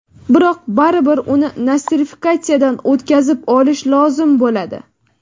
Biroq baribir uni nostrifikatsiyadan o‘tkazib olish lozim bo‘ladi.